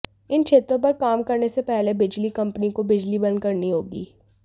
इन क्षेत्रों पर काम करने से पहले बिजली कंपनी को बिजली बंद करनी होगी